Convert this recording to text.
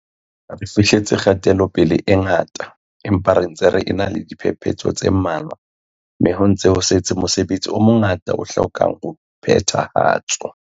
Re fihleletse kgatelope-le e ngata, empa re ntse re ena le diphepetso tse mmalwa mme ho ntse ho setse mosebetsi o mongata o hlokang ho phethahatswa.